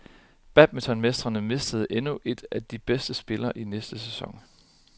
Badmintonmestrene mister endnu en af de bedste spillere i næste sæson.